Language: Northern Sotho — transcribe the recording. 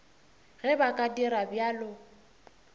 ge ba ka dira bjalo